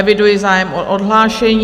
Eviduji zájem o odhlášení.